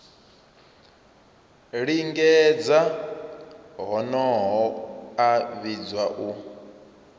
lingedza honoho a vhidzwa u